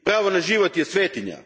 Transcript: Pravo na život je svetinja.